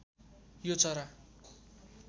यो चरा